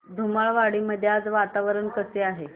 धुमाळवाडी मध्ये आज वातावरण कसे आहे